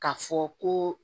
K'a fɔ ko